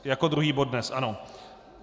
Jako druhý bod dnes, ano.